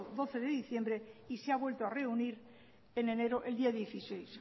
doce de diciembre y se ha vuelto a reunir en enero el día dieciséis